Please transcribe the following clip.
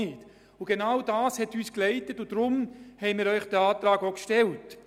Und genau das hat uns geleitetet, und deshalb haben wir Ihnen diesen Antrag gestellt.